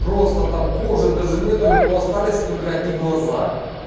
просто там кожа даже нет у него остались только одни глаза